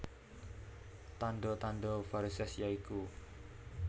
Tandha tandha varisès ya iku